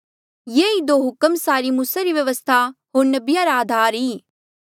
ये ई दो हुक्म सारी मूसा री व्यवस्था होर नबिया रा आधार आ